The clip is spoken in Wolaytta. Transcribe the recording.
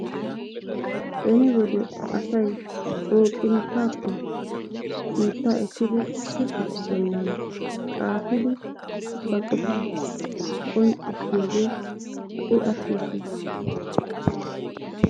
Beni wode asay booqinttaappe biittaa ekkidi shuchchatu bollan xaafidi ba qofaa qonccissiyogee ha''i attis shin